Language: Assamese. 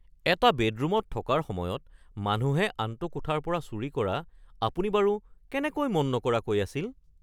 এটা বেডৰুমত থকাৰ সময়ত মানুহে আনটো কোঠাৰ পৰা চুৰি কৰা আপুনি বাৰু কেনেকৈ মন নকৰাকৈ আছিল? (পুলিচ)